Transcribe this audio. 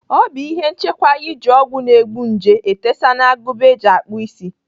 Ọ bụ ihe nchekwa iji ọgwụ na-egbu nje etesa n'agụba eji akpụ isi.